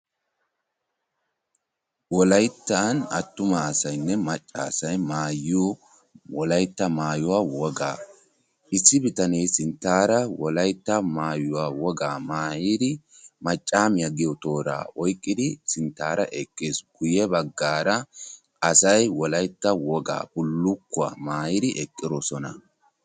Wolaytta attuma asaynne macca asay maayiyoo wolaytta maayuwaa wogaa. issi bitanee sinttaara wolaytta maayuwaa wogaa maayidi maccaamiyaa giyoo tooraa oyqqidi sinttaara eqqiis. guye baggaara asay wolaytta wogaa bulukkuwaa maayidi eqqidosona.